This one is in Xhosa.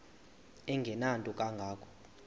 engenanto kanga ko